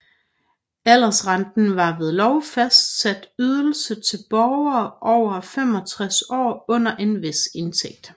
Aldersrenten var en ved lov fastsat ydelse til borgere over 65 år under en vis indtægt